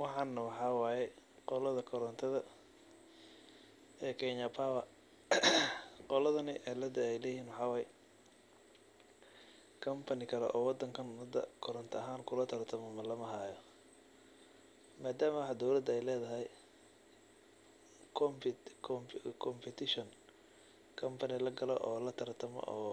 Waxan waxa waye qolada koronta ee Kenya power. Qoladani cilada ey leyihin waxa waye company kale oo wadanka hada koronto ahaan kulataratamo lamahayo, madama ey dowlada ledahay competition kambuni lagalo oo